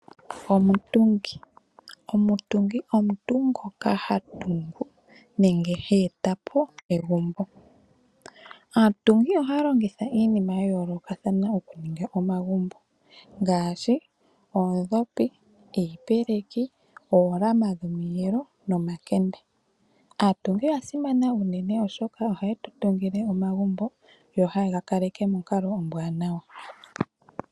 Omutungi Omutungi omuntu ngoka ha tungu nenge he eta po egumbo. Aatungi ohaye alongitha iinima ya yoolokathana okutunga omagumbo ngaashi oondhopi, iipeleki, oolama dhomiyelo nomakende. Aatungi oya simana unene, oshoka ohaye tu tungile omagumbo yo haye ga kaleke monkalo ombwanawa.